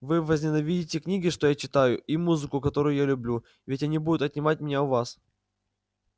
вы возненавидите книги что я читаю и музыку которую я люблю ведь они будут отнимать меня у вас